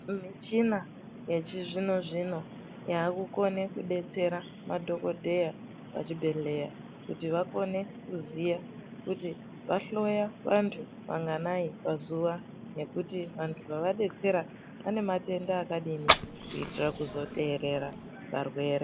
Michina yechizvino zvino yaakukone kudetsera madhokodheya pachibhedhleya kuti vakone kuziya kuti vahloya vantu vanganai pazuwa nekuti vantu vavadetsera vane matenda akadini kuitira kuzoterera varwere.